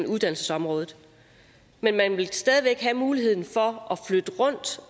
uddannelsesområdet men man vil stadig væk have mulighed for